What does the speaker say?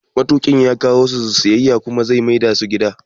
Matuƙin ya kawo su siyayya ya kuma maida su gida